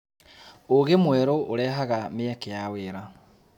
ũũgĩ mwerũ ũrehaga mĩeke ya wĩra.